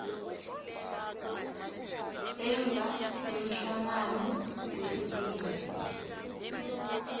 emva kwemhlangano wesine